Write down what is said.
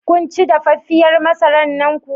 Kunci dafaffiyar masarar nan kuwa?